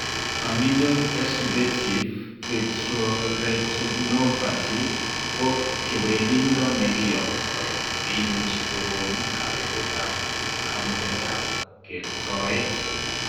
Familial exudative vitreoretinopathy ko kewelindo nekiyoptoi neimuchi kokon kabetetab kamugetab kertoet